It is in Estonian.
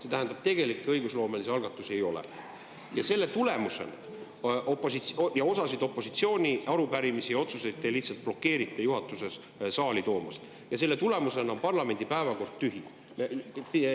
See tähendab, et tegelikke õigusloomelisi algatusi ei ole ning osa opositsiooni arupärimisi ja otsuseid lihtsalt blokeeriti juhatuses, et neid saali toodaks, ja selle tulemusena on parlamendi päevakord tühi.